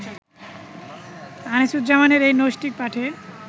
আনিসুজ্জামানের এই নৈষ্ঠিক পাঠে